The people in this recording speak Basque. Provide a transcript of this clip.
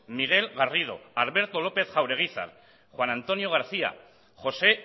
miguel garrido alberto lópez jaureguizar juan antonio garcía josé